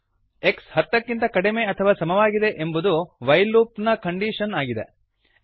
x ಹತ್ತಕ್ಕಿಂತ ಕಡಿಮೆ ಅಥವಾ ಸಮವಾಗಿದೆ ಎಂಬುದು ವೈಲ್ ಲೂಪ್ ನ ಕಂಡೀಶನ್ ಆಗಿದೆ